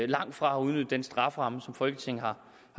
langt fra udnyttet den strafferamme som folketinget har